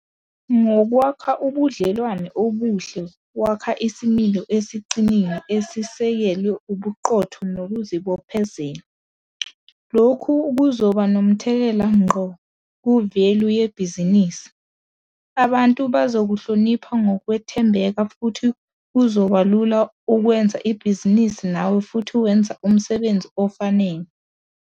Ngokwakha ubudlelwano obuhle wakha isimilo esiqinile esisekelwe ubuqotho nokuzibophezela. Lokhu kuzoba nomthelela ngqo ku-value yebhizinisi. Abantu bazokuhlonipha ngokwethembeka futhi kuzoba lula ukwenza ibhizinisi nawe futhi wenza umsebenzi ofanele.